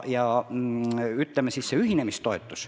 Siis see ühinemistoetus.